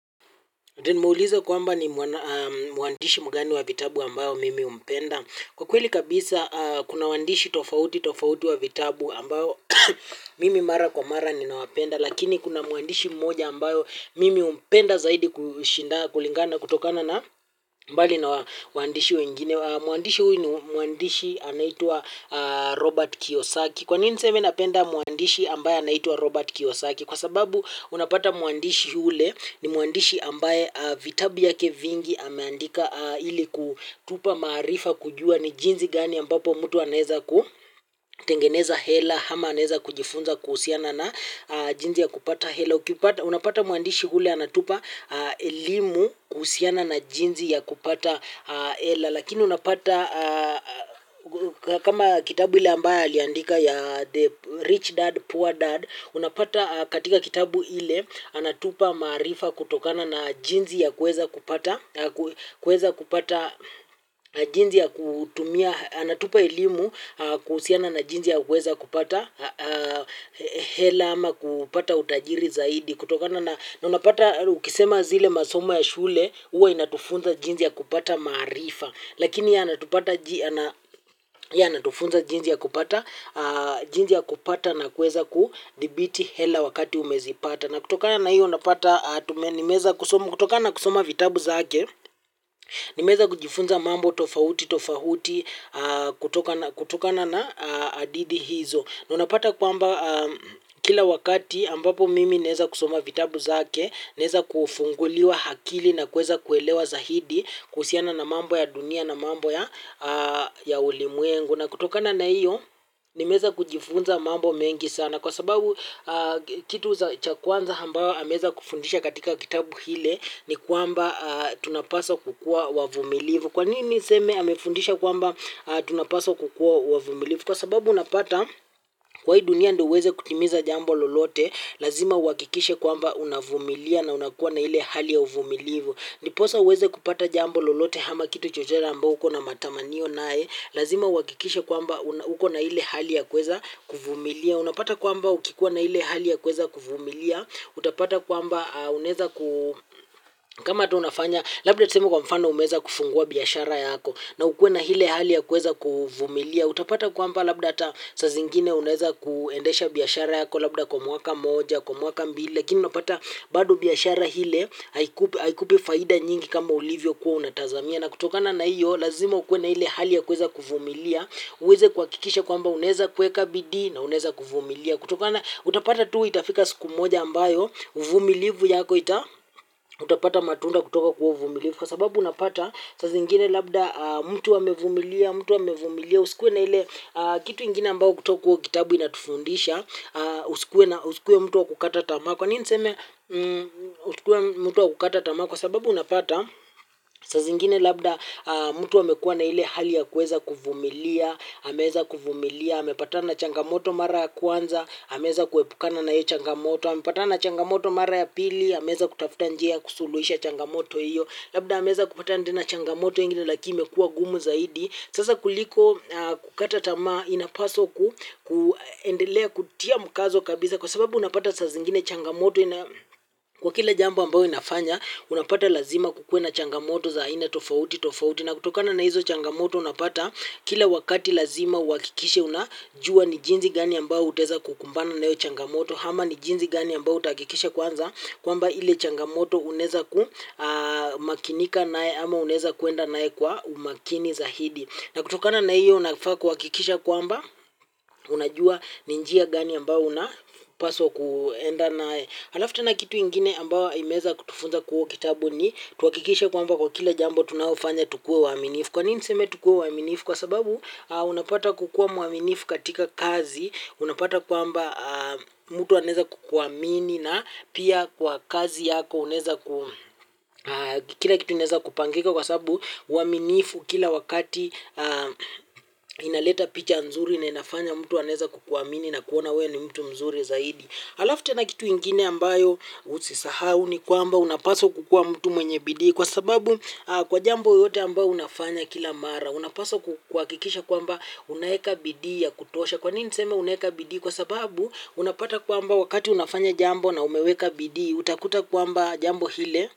Udeni nimeuliza kwamba ni mwandishi mgani wa vitabu ambayo mimi humpenda. Kwa kweli kabisa, kuna waandishi tofauti tofauti wa vitabu ambao mimi mara kwa mara ninawapenda. Lakini kuna mwandishi mmoja ambaye mimi humpenda zaidi kulingana kutokana na mbali na waandishi wengine. Mwandishi hui ni mwandishi anaitwa Robert Kiyosaki. Kwa nini niseme napenda mwandishi ambayo anaitwa Robert Kiyosaki? Kwa sababu unapata mwandishi yule ni mwandishi ambaye vitabu yake vingi ameandika ili kutupa maarifa kujua ni jinsi gani ambapo mtu anaeza kutengeneza hela ama anaeza kujifunza kuhusiana na jinsi ya kupata hela. Unapata mwandishi hule anatupa elimu kusiana na jinsi ya kupata hela. Lakini unapata, kama kitabu ile ambaye aliandika ya the rich dad, poor dad, unapata katika kitabu ile anatupa maarifa kutokana na jinsi ya kuweza kupata, kueza kupata jinsi ya kutumia, anatupa elimu kuhusiana na jinsi ya kuweza kupata, hela ama kupata utajiri zaidi kutokana na unapata ukisema zile masoma ya shule huwa inatufunza jinsi ya kupata maarifa lakini ye anatufunza jinsi ya kupata jinsi ya kupata na kuweza kudhibiti hela wakati umezipata na kutokana na hiyo unapata kutokana na kusoma vitabu zake nimeeza kujifunza mambo tofauti tofauti kutokana na didi hizo. Unapata kwamba kila wakati ambapo mimi naweza kusoma vitabu zake, naweza kufunguliwa akili na kuweza kuelewa zaidi kuhusiana na mambo ya dunia na mambo ya ulimwengu. Na kutokana na iyo nimeweza kujifunza mambo mengi sana kwa sababu kitu cha kwanza ambayo hameweza kufundisha katika kitabu kile ni kwamba tunapaswa kukuwa wavumilivu. Kwanini niseme amefundisha kwamba tunapaswa kukua wavumilivu? Kwa sababu unapata kwa hii dunia ndio uweze kutimiza jambo lolote, lazima uhakikishe kwamba unavumilia na unakuwa na ile hali ya uvumilivu. Ndiposa uweze kupata jambo lolote ama kitu chochote ambao uko na matamanio nae, lazima uhakikishe kwamba uko na ile hali ya kuweza kuvumilia. Unapata kwamba ukikuwa na ile hali ya kuweza kuvumilia, utapata kwamba unaeza kukama ata unafanya, labda tuseme kwa mfano umeweza kufungua biashara yako na ukuwe na ile hali ya kuweza kuvumilia. Utapata kwamba labda ata saa zingine uneza kuendesha biashara yako labda kwa mwaka moja kwa mwaka mbili. Lakini unapata bado biashara ile haikupi faida nyingi kama ulivyokuwa unatazamia. Na kutokana na hiyo lazima ukuwe na ile hali ya kuweza kuvumilia. Uweze kwa kihakisha kwamba unaeza kuweka bidii na unaeza kuvumilia. Kutokana utapata tu itafika siku moja ambayo uvumilivu yako ita utapata matunda kutoka kwa uvumilivu. Kwa sababu unapata sa zingine labda mtu amevumilia. Usikuwe na ile kitu ingine ambao kutoka kwa hio kitabu inatufundisha. Usikuwe mtu wa kukata tamaa. Kwa sababu unapata sa zingine labda mtu amekua na ile hali ya kuweza kuvumilia ameweza kuvumilia, amepatana na changamoto mara ya kwanza ameza kuepukana na hio changamoto amepatana na changamoto mara ya pili ameweza kutafuta njia ya kusuluhisha changamoto hiyo labda ameweza kupata tena na changamoto ingine lakini imekuwa gumu zaidi sasa kuliko kukata tamaa inapaswa kuendelea kutia mkazo kabiza kwa sababu unapata sa zingine changamoto ina kwa kila jambo ambao inafanya unapata lazima kukue na changamoto za aina tofauti tofauti na kutokana na hizo changamoto unapata kila wakati lazima uhakikishe unajua ni jinsi gani ambayo utaweza kukumbana na hiyo changamoto ama ni jinsi gani ambayo utahakikisha kwanza kwamba ili changamoto unaweza kumakinika nayo. Ama unaeza kuenda nayo kwa umakini zaidi. Na kutokana na iyo unafaa kuwakikisha kwamba unajua ni njia gani ambao unapaswa kuenda nae. Alafu tena kitu ingine ambao imezakutufunza kwa hiyo kitabu ni tuwakikishe kwamba kwa kila jambo tunalofanya tukue waaminifu. Kwa nini niseme tukue waaminifu? Kwa sababu unapata kukua muaminifu katika kazi. Unapata kwamba mtu anaeza kukuamini na pia kwa kazi yako. Kila kitu kinaeza kupangika kwa sababu uaminifu kila wakati inaleta picha nzuri. Na inafanya mtu anaeza kukuamini na kuona wewe ni mtu mzuri zaidi. Alafu tena kitu ingine ambayo usisahau ni kwamba unapaswa kukua mtu mwenye bidii. Kwa sababu kwa jambo yoyote ambayo unafanya kila mara unapaswa kuhakikisha kwamba unaeka bidii ya kutosha. Kwa nini niseme unaeka bidii? Kwa sababu unapata kwamba wakati unafanya jambo na umeweka bidii, utakuta kuamba jambo hile.